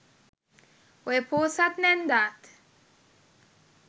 ඔය පෝසත් නැන්දාත්